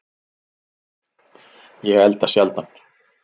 Ég elda sjaldan